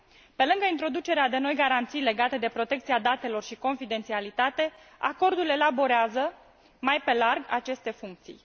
Pe lângă introducerea de noi garanții legate de protecția datelor și confidențialitate, acordul elaborează mai pe larg aceste funcții.